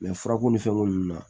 furako ni fɛn k'olu la